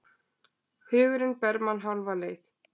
Hugurinn ber mann hálfa leið.